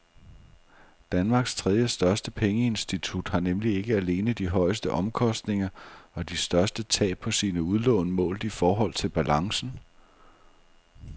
Danmarks tredjestørste pengeinstitut har nemlig ikke alene de højeste omkostninger og de største tab på sine udlån målt i forhold til balancen.